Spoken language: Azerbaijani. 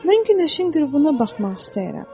Mən günəşin qürubuna baxmaq istəyirəm.